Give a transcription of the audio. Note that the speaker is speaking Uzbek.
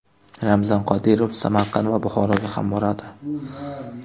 Ramzan Qodirov Samarqand va Buxoroga ham boradi.